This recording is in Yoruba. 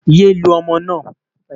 yé lu ọmọ na